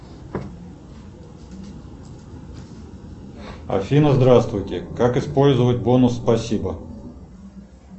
афина здравствуйте как использовать бонус спасибо